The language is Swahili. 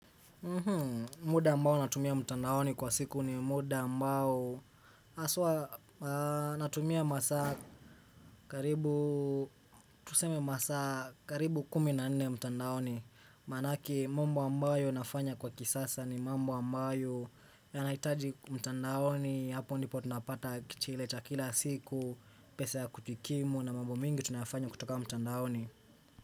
Muda ambao natumia mtandaoni kwa siku ni muda ambao haswa natumia masaa karibu tuseme masaa karibu kumi na nne mtandaoni Maanaki mambo ambayo nafanya kwa kisasa ni mambo ambayo yanahitaji mtandaoni hapo ndipo tunapata kichile cha kila siku Pese ya kujikimu na mambo mengi tunayafanya kutoka mtandaoni.